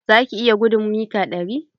Za ki iya gudun mita ɗari?